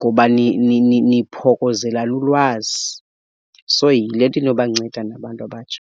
ngoba niphokozelelana ulwazi. So yile nto inobanceda nabantu abatsha.